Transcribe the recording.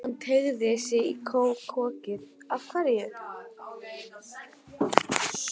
Hann teygði sig í kókið: Hverju?